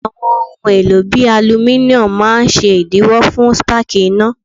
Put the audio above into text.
Àwọn ohun èlò bíi alumíníọ́nù máa ṣèdíwọ́ fún spáàkì iná.